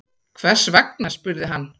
Hvers vegna? spurði hann.